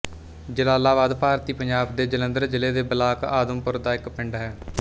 ਜਲਾਲਾਬਾਦ ਭਾਰਤੀ ਪੰਜਾਬ ਦੇ ਜਲੰਧਰ ਜ਼ਿਲ੍ਹੇ ਦੇ ਬਲਾਕ ਆਦਮਪੁਰ ਦਾ ਇੱਕ ਪਿੰਡ ਹੈ